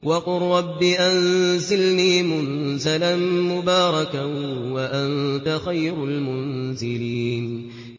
وَقُل رَّبِّ أَنزِلْنِي مُنزَلًا مُّبَارَكًا وَأَنتَ خَيْرُ الْمُنزِلِينَ